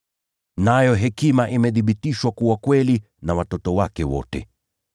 Nayo hekima huthibitishwa kuwa kweli na watoto wake wote.”